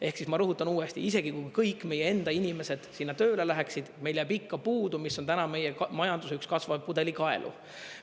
Ehk siis ma rõhutan uuesti, isegi kui kõik meie enda inimesed sinna tööle läheksid, meil jääb ikka puudu, mis on täna meie majanduse üks kasvav pudelikaelu.